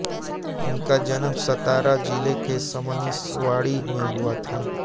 उनका जन्म सतारा जिले के सबनिसवाडी में हुआ था